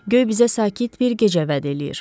Göy bizə sakit bir gecə vəd eləyir,